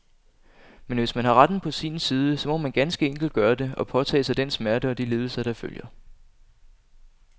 Men hvis man har retten på sin side, så må man ganske enkelt gøre det, og påtage sig den smerte og de lidelser, der følger.